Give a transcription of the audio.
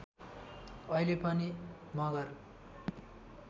अहिले पनि मगर